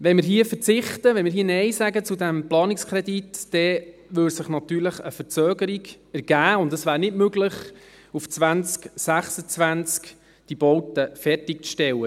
– Wenn wir hier verzichten, wenn wir Nein sagen zu diesem Planungskredit, dann würde sich natürlich eine Verzögerung ergeben, und es wäre nicht möglich, auf diese Baute 2026 fertig zu stellen.